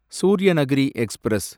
Suryanagari express